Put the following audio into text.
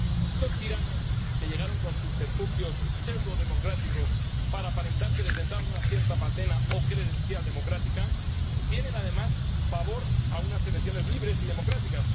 Estos tiranos que llegaron con subterfugios pseudodemocráticos para aparentar que detentaban una cierta patena o credencial democrática tienen, además, pavor a unas elecciones libres y democráticas.